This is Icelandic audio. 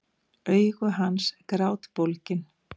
Augu hans grátbólgin.